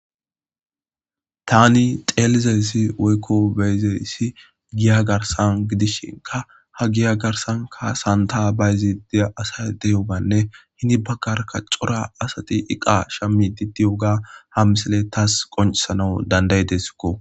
Tani xelizays woyko beyizays giya Garsan gidisheka ha giya Garsanka Santa bayizd diyo asay de'iyobanne hen bagaraka cora asati eqa shamid diyoba ha misiley tasi qoncisanaw dand'idesko.